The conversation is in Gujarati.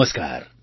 નમસ્કાર